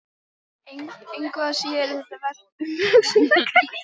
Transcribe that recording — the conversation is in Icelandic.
Engu að síður er það vert umhugsunar gagnvart framtíðinni.